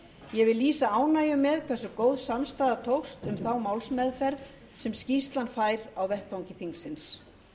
ég vil lýsa ánægju með hversu góð samstaða tókst um þá málsmeðferð sem skýrslan fær á vettvangi þingsins